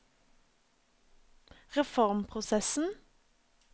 reformprosessen